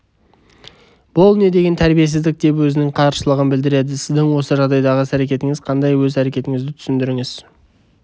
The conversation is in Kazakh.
бұл не деген тәрбиесіздік деп өзінің қарсылығын білдіреді сіздің осы жағдайдағы іс-әрекетіңіз қандай өз әрекетіңізді түсіндіріңіз